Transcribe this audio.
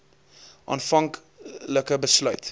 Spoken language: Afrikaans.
aanvank like besluit